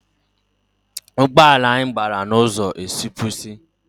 Ụgbọala anyị gbara n’ụzọ esipursi